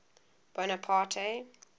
bonaparte